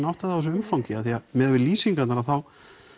átta þig á þessu umfangi af því að miðað við lýsingarnar þá